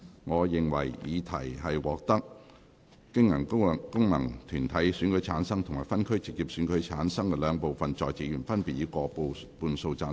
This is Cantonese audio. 我認為議題獲得經由功能團體選舉產生及分區直接選舉產生的兩部分在席議員，分別以過半數贊成。